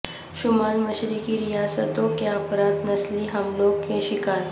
شمال مشرقی ریاستوں کے افراد نسلی حملوں کے شکار